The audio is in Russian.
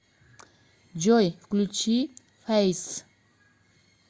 джой включи фэйс